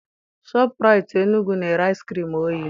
Shọpụraitii Enugwu na-ere ice cream oyi